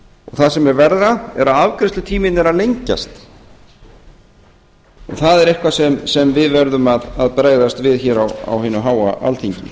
það sem er verra er að afgreiðslutíminn er að lengjast og það er eitthvað sem við verðum að bregðast við hér á hinu háa alþingi